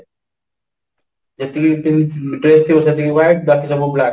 ଯେତିକି ସବୁ ବାକି ସବୁ black